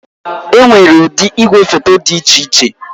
Enwere ụdị igwefoto dị iche iche